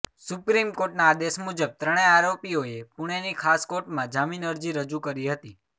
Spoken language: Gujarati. સુપ્રીમકોર્ટના આદેશ મુજબ ત્રણે આરોપીઓએ પુણેેની ખાસ કોર્ટમાં જામીન અરજી રજૂ કરી હતી